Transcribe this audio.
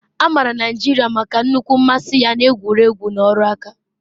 A maara Naijiria maka nnukwu mmasị ya na egwu egwu na ọrụ nka